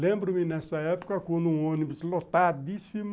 Lembro-me nessa época, com um ônibus lotadíssimo,